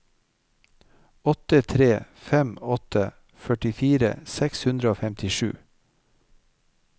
åtte tre fem åtte førtifire seks hundre og femtisju